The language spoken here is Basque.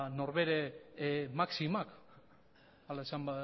nor bere maximak ala esan